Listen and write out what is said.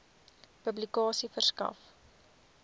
publikasie verskaf